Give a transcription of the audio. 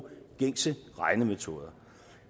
gængse regnemetoder